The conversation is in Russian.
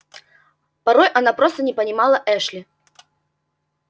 порой она просто не понимала эшли